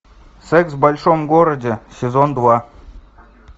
секс в большом городе сезон два